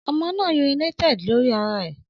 Ọmọ naa urinated lori ara rẹ